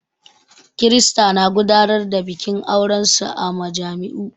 Kirista na gudanar da bikin aurensu a majami'u.